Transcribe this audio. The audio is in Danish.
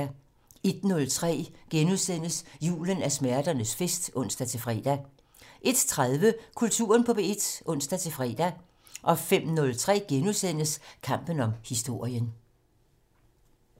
01:03: Julen er smerternes fest *(ons-fre) 01:30: Kulturen på P1 (ons-tor) 05:03: Kampen om historien *